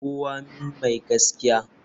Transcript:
Kawo min mai gaskiya.